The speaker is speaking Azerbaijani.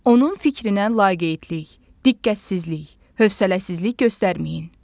Onun fikrinə laqeydlik, diqqətsizlik, hövsələsizlik göstərməyin.